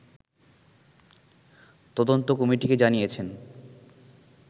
তদন্ত কমিটিকে জানিয়েছেন